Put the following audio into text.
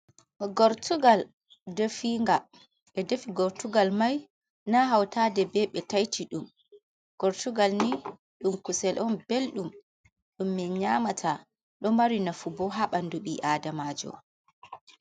Gortugal definga, ɓe defi gortugalmai na hauta de be ɓe taitiɗum. Gortugal ni ɗum kusel'on belɗum ɗum min nyamata, ɗo mari nafubo ha ɓandu ɓii Adamajo.